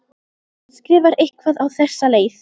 Hún skrifar eitthvað á þessa leið: